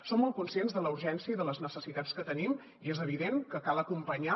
som molt conscients de la urgència i de les necessitats que tenim i és evident que cal acompanyar